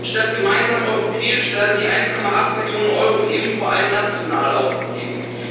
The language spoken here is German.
Statt gemeinsam europäisch werden die 1,8 Billionen Euro eben vor allem national ausgegeben.